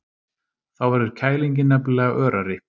Þá verður kælingin nefnilega örari.